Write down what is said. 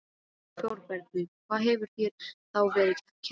ÞÓRBERGUR: Hvað hefur þér þá verið kennt?